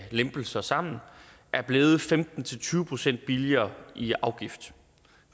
lempelser sammen er blevet femten til tyve procent billigere i afgift